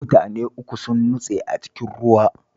Mutane uku sun nutse a cikin ruwa